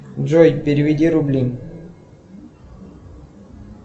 джой переведи рубли